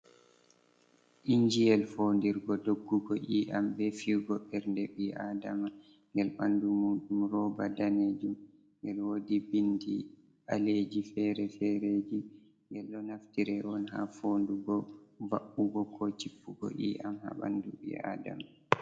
injiyel fondirgo doggugo iyam be fiigo ɓernde ɓii Aadama, ngel ɓandu muɗum rooba daneejum, ngel woodi bindi ɓaleeji fere-fereji. Ngel ɗo naftire on ha foondugo mba’ugo ko jippugo iyam haa ɓandu ɓii Aadama.